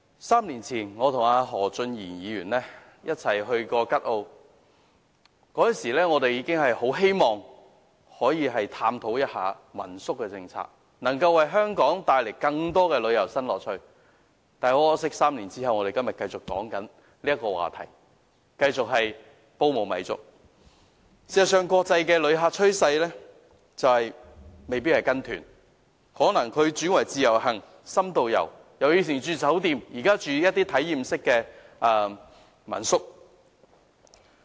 三年前，我和何俊賢議員一起前往吉澳，當時我們很希望探討民宿政策能否為香港帶來更多旅遊新樂趣。很可惜 ，3 年後，我們依然在討論這個話題，繼續"煲無米粥"。事實上，國際旅客的趨勢是未必會參加旅行團，而可能改為自由行或深度遊，並由以往入住酒店變成入住體驗式的民宿。